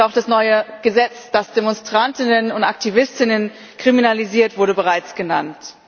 Auch das neue Gesetz, das DemonstrantInnen und AktivistInnen kriminalisiert, wurde bereits genannt.